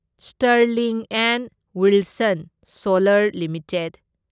Sterling and Wilson solar limited